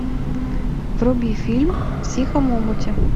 вруби фильм в тихом омуте